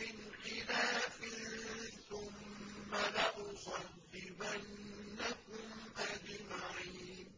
مِّنْ خِلَافٍ ثُمَّ لَأُصَلِّبَنَّكُمْ أَجْمَعِينَ